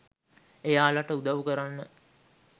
එයාලට උදව් කරන්න